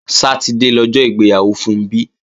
Sátidé lọjọ́ ìgbéyàwó Funbí